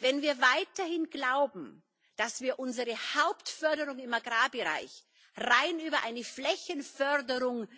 Wenn wir weiterhin glauben, dass wir unsere Hauptförderung im Agrarbereich rein über eine Flächenförderung